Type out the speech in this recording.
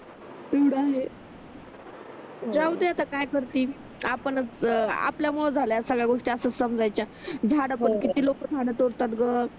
ते तर आहे जाऊदे आता काय करतील आपणच आपल्यामुळे झाल्या सगळ्या असच समजायच्या झाड पण किती लोकं झाड तोडतात ग